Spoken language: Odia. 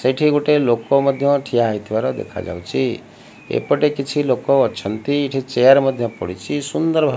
ସେଠି ଗୋଟେ ଲୋକ ମଧ୍ୟ ଠିଆ ହେଇଥିବାର ଦେଖା ଯାଉଛି ଏପଟେ କିଛି ଲୋକ ଅଛନ୍ତି ଏଠି ଚେୟାର ମଧ୍ୟ ପଡ଼ିଛି ସୁନ୍ଦର ଭାବ --